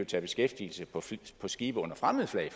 tage beskæftigelse på skibe under fremmed flag